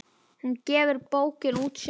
Hún gefur bókina út sjálf.